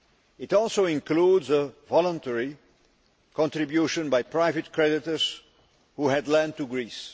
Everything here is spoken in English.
It also includes a voluntary contribution by private creditors who had lent to Greece.